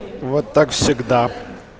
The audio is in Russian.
вот так всегда